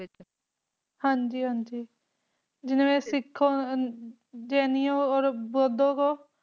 ਹਾਂ ਜੀ ਹਾਂ ਜੀ ਜਿਵੇਂ ਸਿੱਖ ਜੈਨਿਓਂ ਓਰ ਬੋਧੋ ਕੋ